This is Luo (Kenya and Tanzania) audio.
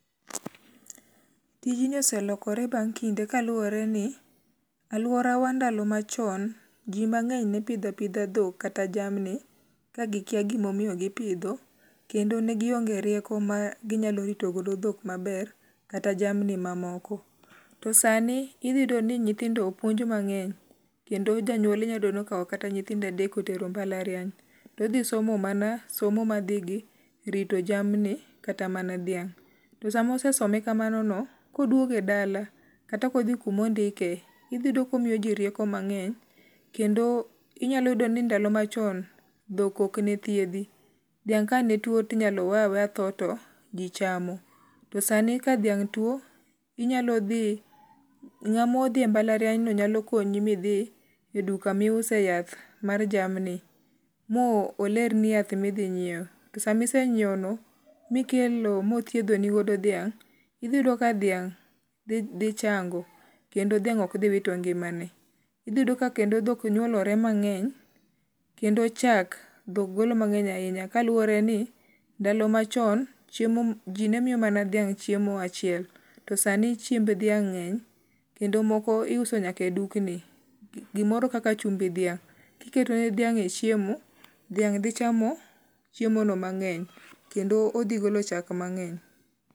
Tijni oselokore bang' kinde kaluwore ni aluora wa ndalo ma chon ji mang'eny ne pidho apidha dhok kata jamni kagikia gimomiyo gipidho. Kendo negionge rieko ma ginyalo ritogodo dhok maber kata jamni mamoko. To sani idhi yudo ni nyithindo opuonj mang'eny kendo janyuol inyayudo ni okaw kata nyithindo adek otero mbalariany. Todhisomo mana somo ma dhi gi rito jamni kata mana dhiang'. Tosamosesome kamano no. koduoge dala kata kodhi kumondikie idhiyudo komiyoji rieko mang'eny kendo inyalo yudo ni ndalo machon dhok ok ne thiedhi. Dhiang' ka ne tue to inyalo we aweya tho to ji chamo. To sani ka dhiang' tuo inyalo dhi ng'amo dhi mbalariany no nyalo konyi midhi e duka miuse yath mar jamni molerni yath midhi nyiew. To samisenyiewno no mikelo mothiedho nigodo dhiang' idhi yudo ka dhiang' dhi chango kendo dhiang' ok dhi wito ngimane. Idhi yudo ka kendo dhok nyuolore mang'eny kendo chak dhok golo mang'eny ahinya kaluwore ni ndalo machon chiemo ji ne miyo mana dhiang' chiemo achiel. To sani chiemb dhiang' ng'eny. Kendo moko iuso nyaka e dukni. Gimoro kaka chumbi dhiang' kiketo ne dhiang' e chiemo, dhiang' dhi chamo chiemo no mang'eny kendo odhi golo chak mang'eny.